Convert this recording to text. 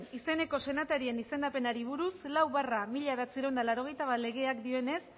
izeneko senatarien izendapenari buruz lau barra mila bederatziehun eta laurogeita bat legeak dionenez